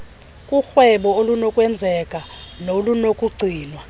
korhwebo olunokwenzeka nolunokugcinwa